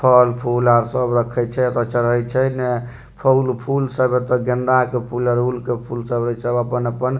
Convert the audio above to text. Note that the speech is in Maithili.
फल फूल आर सब रखे छै अगर चढ़े छै ने फूल-फूल सब एता गेंदा के फूल अड़हुल के फूल इ सब अपन-अपन --